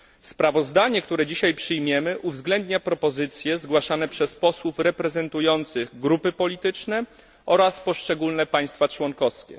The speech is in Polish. Sprawozdanie, które dzisiaj przyjmiemy, uwzględnia propozycje zgłaszane przez posłów reprezentujących grupy polityczne oraz poszczególne państwa członkowskie.